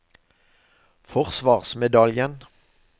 forsvarsmedaljen